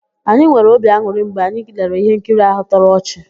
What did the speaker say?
Anyị nwere obi an̄ụrị mgbe anyị lere íhénkiri áhụ̀ tọrọ ọchị.